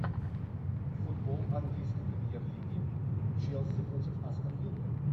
футбол английской премьер лиги челси против астон виллы